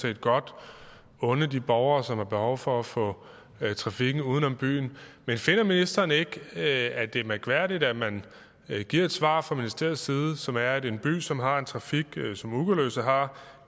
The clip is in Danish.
set godt unde de borgere som har behov for at få trafikken uden om byen men finder ministeren ikke at det er mærkværdigt at man giver et svar fra ministeriets side som er at en by som har en trafik som ugerløse har